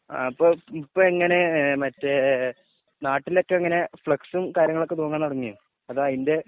ആ ഇപ്പൊ എങ്ങനെ മറ്റേ നാട്ടിലൊക്കെ എങ്ങനെ ഫ്‌ളെക്കുംസും കാര്യങ്ങളൊക്കെ തൂങ്ങാൻ തുടങ്ങിയോ ആ അതിന്റെ